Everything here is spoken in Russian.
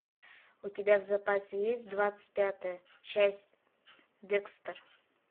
у тебя в запасе есть двадцать пятая часть декстер